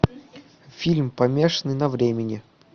фильм помешанный на времени